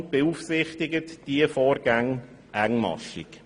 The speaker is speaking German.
Die FiKo beaufsichtigt diese Vorgänge engmaschig.